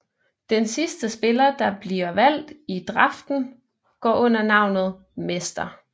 Den sidste spiller der bliver valgt i draften går under navnet Mr